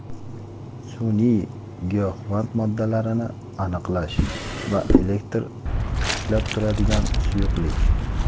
Sun’iy giyohvand moddalarni aniqlash va elektr ushlab turadigan suyuqlik.